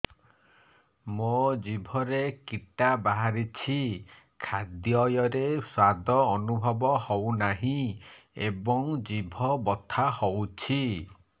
ମୋ ଜିଭରେ କିଟା ବାହାରିଛି ଖାଦ୍ଯୟରେ ସ୍ୱାଦ ଅନୁଭବ ହଉନାହିଁ ଏବଂ ଜିଭ ବଥା ହଉଛି